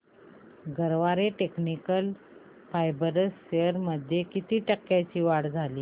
Garware technical fibres shares मध्ये किती टक्क्यांची वाढ झाली